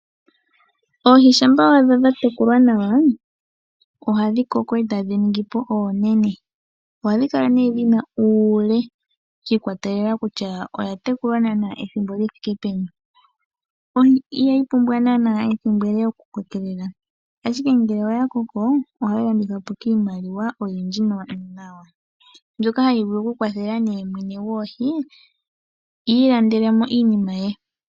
Oohi shampa wa adha dha tekulwa nawa ohadhi koko eta dhi ningi po oonene ohadhi kala nee dhina uule shi ikwatelela kutya oya tekulwa naana ethimbo li thike peni ihayi pula naa ethimbo ele okukoka nongele oya koko ohayi pe mwene gwoohi iilandelemo iinima ye.